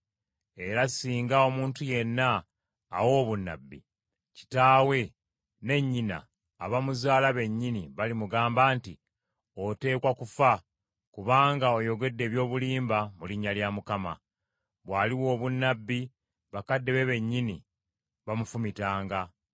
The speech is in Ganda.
Era singa omuntu yenna awa obunnabbi, kitaawe ne nnyina abamuzaala bennyini balimugamba nti, “Oteekwa kufa kubanga oyogedde eby’obulimba mu linnya lya Mukama .” Bw’aliwa obunnabbi, bakadde be bennyini bamufumitanga.